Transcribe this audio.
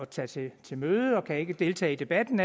tage til til møde og kan ikke deltage i debatten